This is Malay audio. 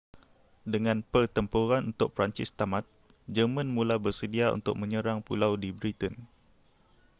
dengan pertempuran untuk perancis tamat jerman mula bersedia untuk menyerang pulau di britain